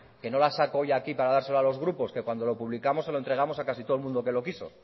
que no las saco hoy aquí para dárselo a los grupos que cuando lo publicamos se lo entregamos a casi todo el mundo que lo quiso